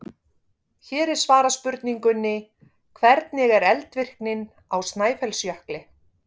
Hér er svarað spurningunni: Hvernig er eldvirknin á Snæfellsjökli?